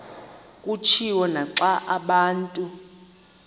kutshiwo naxa abantu